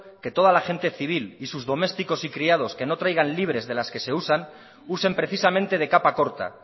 que toda la gente civil y sus domésticos y criados que no traigan libres de las que se usan usen precisamente de capa corta